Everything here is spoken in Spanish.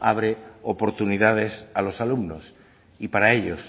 abre oportunidades a los alumnos y para ellos